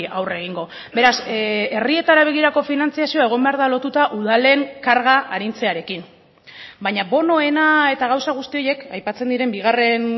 aurre egingo beraz herrietara begirako finantzazioa egon behar da lotuta udalen karga arintzearekin baina bonoena eta gauza guzti horiek aipatzen diren bigarren